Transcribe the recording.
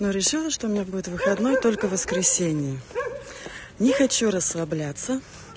но решила что у меня будет выходной только в воскресенье не хочу расслабляться